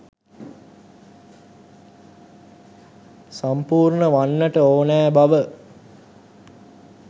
සම්පූර්ණ වන්නට ඕනෑ බව.